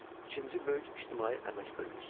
İkinci böyük ictimai əmək bölgüsü.